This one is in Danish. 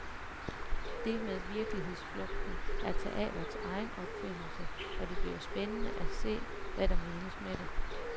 Det med virkelighedsflugten er teatrets egen opfindelse, og det bliver spændende at se, hvad der menes med det.